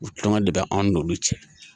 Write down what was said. U kan ka de bɛ an n'olu cɛ